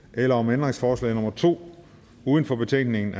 eller om ændringsforslag nummer to uden for betænkningen